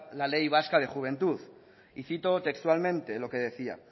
la ley vasca de juventud y cito textualmente lo que decía